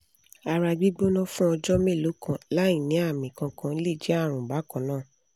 ara gbigbona fun ọjọ́ mélòó kan láìní àmì kankan le je àrùn bakanna